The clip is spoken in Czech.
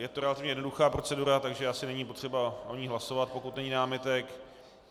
Je to relativně jednoduchá procedura, takže asi není potřeba o ní hlasovat, pokud není námitek.